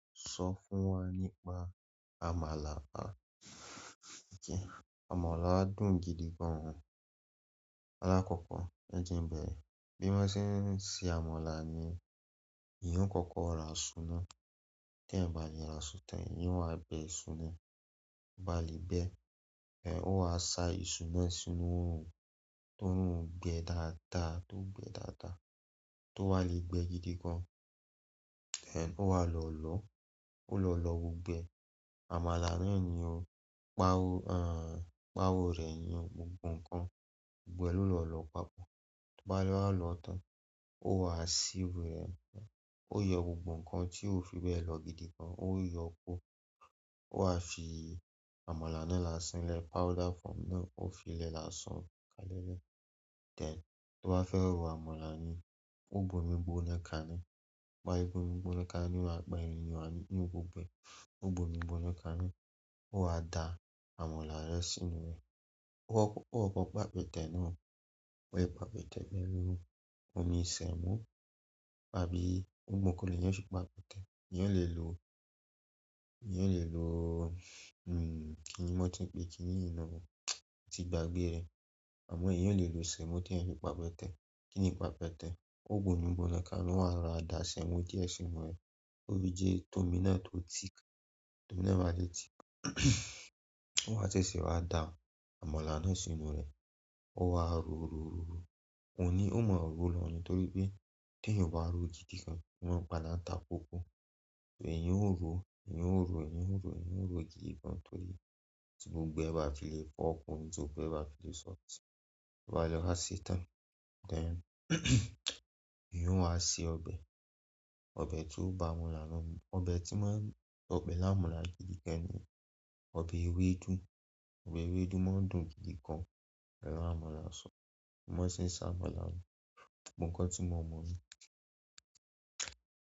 Sọ fún wa nípa àmàlà. Àmàlà dùn gidi gan. Alákọ̀kọ́, ẹ jẹ ń bẹ̀rẹ. Bí wọ́n ṣe ń se àmàlà ni èèyàn o kọ́kọ́ ra iṣu náà. Then ìbà lè ra iṣu tán, ìyẹn wá bẹ iṣu náà. Ba lè bẹ, ẹh, ó wá sa iṣu náà sínú oòrùn tó oòrùn o gbẹ dáadáa, tó gbẹ dáadáa, tó wá le gbẹ gidi gan. Eh ó wá lọ lọ, ó lọ lọ gbogbo ẹ. Àmàlà náà ni ó pa, aah, pa owó rẹ yin gbogbo nǹkan gbogbo ẹ ló lọ lọ papọ̀. Bá lè wá lọ tán, ó wá ṣí wẹ́, ó yọ gbogbo nǹkan tí ó fi bẹ lọ gidi gan, ó yọ kó. Wá fi àmàlà nínlá sílẹ̀ kò fí i lẹ̀ lásán. Tí mo bá fẹ́ ro àmàlà mi, un ó gbé omí gbóná kaná, tí m bá ti gbé omí gbóná kaná, í ǹ wá pẹyin gbogbo ẹ̀ ó gbo igbó nìkan ni ó wá da àmàlà rẹ sínú rẹ̀. Ó kọ́ kọ́ pàpẹ́tẹ̀ náà. Ó fi pàpẹ́tẹ̀ bẹ rú omi ìsẹ́mọ̀ tàbí ohun gbogbo kí ènìyàn fi pàpẹ́tẹ̀. Ènìyàn lè lò, ènìyàn lè lò, hmm, kí ni wọ́n ti ń pe, kí ní yìí ná? Mo tí gbàgbẹ́ rẹ̀. Àmọ́ èèyàn lè lò ìsẹ́mọ̀ tí ẹ̀ fi pàpẹ́tẹ̀. Kí ni pàpẹ́tẹ̀? Ó gbo igbó nìkan ni wá ra àdà sẹ́mọ̀ díẹ̀ sínú rẹ̀. Ó fi jiẹ̀ tómi náà to tick, tómi náà bá ti tick ó wá ṣẹ̀ ṣe wá da àmàlà náà sínú rẹ̀. Ó wá ro, ro, ro, ro. Ó ní, óó mọ rò ó lọ ní torí pé t'èyàn ò bá ro gidi gan, ó máa ń padá ta kókó. Èèyàn ó rò ó èèyàn ó rò ó, èèyàn ó rò ó, èèyàn ó rò ó, gidi gan torí ti gbogbo ẹ bá ti le fo ọkùn, tí gbogbo ẹ bá ti le sọ̀ọ́ tì. Bá lè wá ṣe tán, then èèyàn ó wá ṣe ọbẹ̀. Ọbẹ̀ tí ó ba àmàlà náà mú. Ọbẹ̀ tí wọ́n, ọbẹ̀ láàmúla gidi gan ni. Ọbẹ̀ ewédú. Ọbẹ̀ ewédú máa ń dùn gidi gan láàmúla sọ́ọ̀. Bí wọ́n ṣe ń ṣe àmàlà ni. Nǹkan tí mo mọ̀ mọ́.